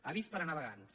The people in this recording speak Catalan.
avís per a navegants